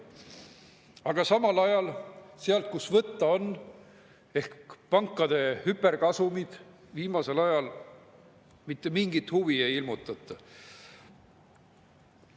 Aga samal ajal, kust oleks võtta – pankade hüperkasumid –, viimasel ajal mitte mingit huvi ei ilmutata.